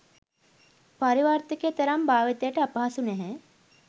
පරිවර්තකය තරම් භාවිතයට අපහසු නැහැ.